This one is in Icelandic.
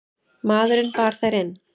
Maðurinn bar þær inn.